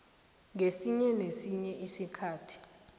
ngesinye nesinye isikhathi